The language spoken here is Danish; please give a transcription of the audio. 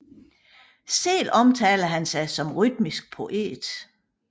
Selv omtaler han sig som rytmisk poet